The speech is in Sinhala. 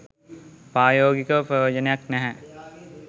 ප්‍රායෝගිකව ප්‍රයෝජනයක් නැහැ